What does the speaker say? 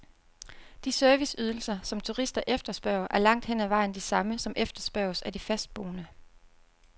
De serviceydelser, som turister efterspørger, er langt hen ad vejen de samme, som efterspørges af de fastboende.